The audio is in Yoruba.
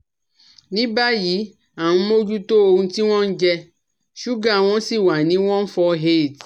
Ní báyìí à nh mójútó ohun tí wọ́n ń jẹ ṣúgà wọn sì wà ní 148